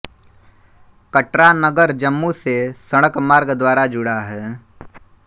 कटरा नगर जम्मू से सड़कमार्ग द्वारा जुड़ा है